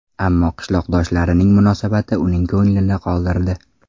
Ammo qishloqdoshlarining munosabati uning ko‘nglini qoldirdi.